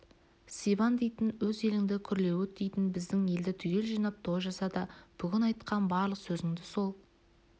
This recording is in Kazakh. сибан дейтін өз еліңді күрлеуіт дейтін біздің елді түгел жинап той жаса да бүгін айтқан барлық сөзіңді сол